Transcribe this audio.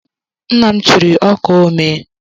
Nna m chiri ọkaa omee.